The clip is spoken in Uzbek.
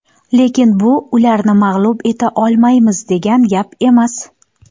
Lekin bu ularni mag‘lub eta olmaymiz, degan gap emas.